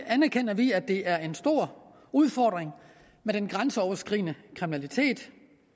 anerkender vi at det er en stor udfordring med den grænseoverskridende kriminalitet